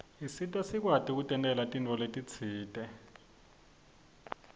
isita sikwati kutentela tintfo letisite